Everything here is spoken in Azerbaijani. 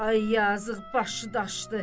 Ay yazıq, başı daşdı.